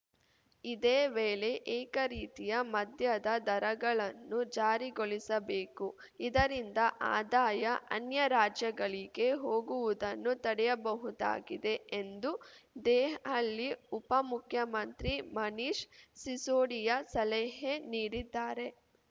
ಇದೇ ವೇಳೆ ಏಕ ರೀತಿಯ ಮದ್ಯದ ದರಗಳನ್ನು ಜಾರಿಗೊಳಿಸಬೇಕು ಇದರಿಂದ ಆದಾಯ ಅನ್ಯ ರಾಜ್ಯಗಳಿಗೆ ಹೋಗುವದನ್ನು ತಡೆಯಬಹುದಾಗಿದೆ ಎಂದು ದೆಹಲಿ ಉಪಮುಖ್ಯಮಂತ್ರಿ ಮನೀಶ್‌ ಸಿಸೋಡಿಯಾ ಸಲಹೆ ನೀಡಿದ್ದಾರೆ